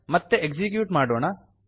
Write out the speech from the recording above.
ಮತ್ತೆ ಎಕ್ಸಿಕ್ಯೂಟ್ ಮಾಡೋಣ